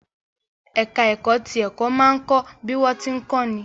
Ẹ̀ká ẹ̀kọ́ ti ẹ̀kọ́ máa ń kọ́ bí wọ́n tí ń kọ́ ni